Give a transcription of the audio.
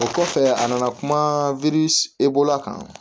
O kɔfɛ a nana kuma e bolola kan